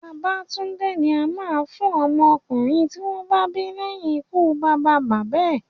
Babatúndé ni a máa ń fún ọmọ ọkùnrin tí wọ́n bá bí leyin ikú bàbá bàbá ẹ̀